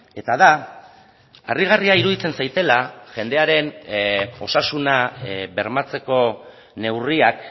eta da harrigarria iruditzen zaidala jendearen osasuna bermatzeko neurriak